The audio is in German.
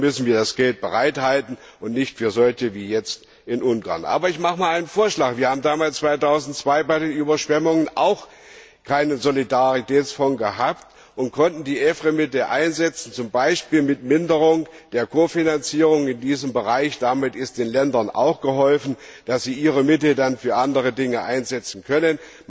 Dafür müssen wir das Geld bereithalten, und nicht für solche Fälle wie jetzt in Ungarn. Aber ich mache einen Vorschlag Wir hatten im Jahr 2002 bei den Überschwemmungen auch keinen Solidaritätsfonds und konnten die EFRE Mittel einsetzen, z. B. mit Minderung der Kofinanzierung in diesem Bereich. Damit ist den Ländern auch geholfen, wenn sie ihre Mittel dann für andere Dinge einsetzen